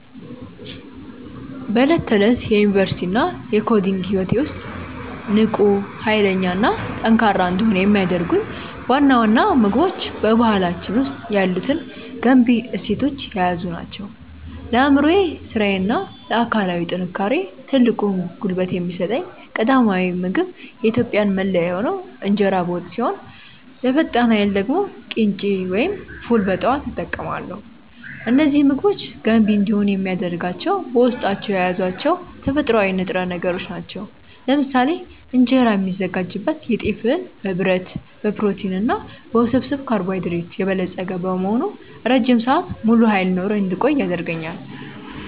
በዕለት ተዕለት የዩኒቨርሲቲ እና የኮዲንግ ህይወቴ ውስጥ ንቁ፣ ኃይለኛ እና ጠንካራ እንድሆን የሚያደርጉኝ ዋና ዋና ምግቦች በባህላችን ውስጥ ያሉትን ገንቢ እሴቶች የያዙ ናቸው። ለአእምሯዊ ስራዬ እና ለአካላዊ ጥንካሬዬ ትልቁን ጉልበት የሚሰጠኝ ቀዳሚው ምግብ የኢትዮጵያዊያን መለያ የሆነው እንጀራ በወጥ ሲሆን፣ ለፈጣን ኃይል ደግሞ ቅንጬ ወይም ፉል በጠዋት እጠቀማለሁ። እነዚህ ምግቦች ገንቢ እንዲሆኑ የሚያደርጋቸው በውስጣቸው የያዟቸው ተፈጥሯዊ ንጥረ ነገሮች ናቸው። ለምሳሌ እንጀራ የሚዘጋጅበት የጤፍ እህል በብረት፣ በፕሮቲን እና በውስብስብ ካርቦሃይድሬት የበለጸገ በመሆኑ ረጅም ሰዓት ሙሉ ኃይል ኖሮኝ እንድቆይ ያደርገኛል።